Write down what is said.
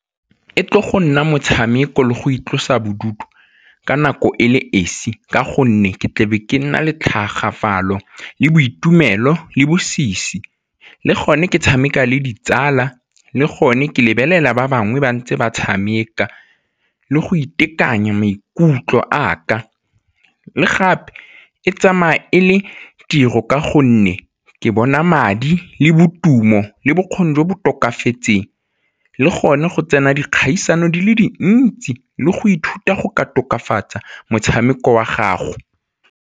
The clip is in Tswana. E tlo go nna motshameko le go itlosa bodutu ka nako e le esi ka gonne ke tlabe ke nna le tlhagafalo le boitumelo le bosisi le gone ke tshameka le ditsala le gone ke lebelela ba bangwe ba ntse ba tshameka le go itekanya maikutlo a ka. Le gape, e tsamaya e le tiro ka gonne ke bona madi le boitumelo le bokgoni jo bo tokafaditsweng le gone go tsena dikgaisano di le dintsi le go ithuta go ka tokafatsa motshameko wa gago.